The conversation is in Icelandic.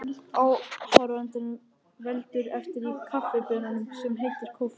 Áhrifunum veldur efni í kaffibaununum sem heitir koffein.